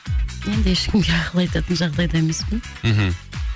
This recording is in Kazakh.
енді ешкімге ақыл айтатын жағдайда емеспін мхм